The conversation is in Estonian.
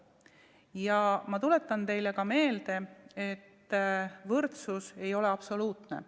Ja ma tuletan teile meelde, et võrdsus ei ole absoluutne.